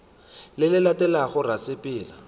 le le latelago ra sepela